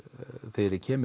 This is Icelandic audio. þegar ég kem